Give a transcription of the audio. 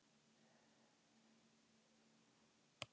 Eru til svör við öllum þessum spurningum?